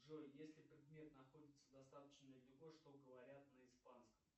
джой если предмет находится достаточно далеко что говорят на испанском